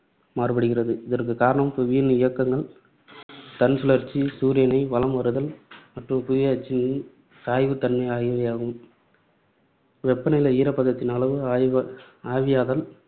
மாறுபடுகிறது. இதற்கு காரணம் புவியின் இயக்கங்கள், தன்சுழற்சி, சூரியனை வலம் வருதல் மற்றும் புவி அச்சின் சாய்வுத் தன்மை ஆகியவையாகும். வெப்ப நிலை, ஈரப்பதத்தின் அளவு, ஆவி ஆவியாதல்,